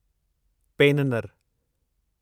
पेननर